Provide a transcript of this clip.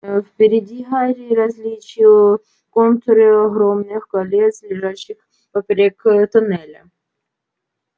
впереди гарри различил контуры огромных колец лежащих поперёк тоннеля